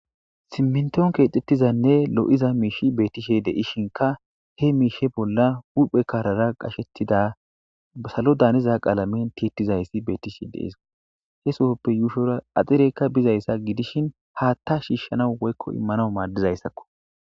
simminton keexxettizanne lo7iza miishi beetishe de7ishinka he miishe bolla huphe kaarara qashettida salo daaniza qaalamen tiettizayssi betishe de7es he sohoppe yuushora axireykka bizayssa gidishin haatta shiishshanaw woykko immanaw maaddizayssakko